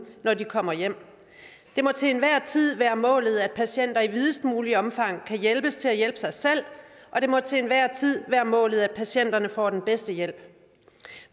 når de kommer hjem det må til enhver tid være målet at patienter i videst muligt omfang kan hjælpes til at hjælpe sig selv og det må til enhver tid være målet at patienterne får den bedste hjælp